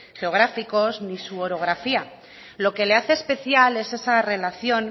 geográficos ni su orografía lo que le hace especial es esa relación